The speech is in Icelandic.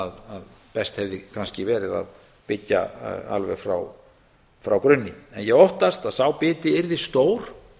að best hefði kannski verið að byggja alveg frá grunni ég óttast að sá biti yrði stór